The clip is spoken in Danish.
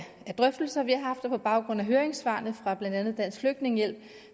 de drøftelser vi har haft og på baggrund af høringssvaret fra blandt andet dansk flygtningehjælp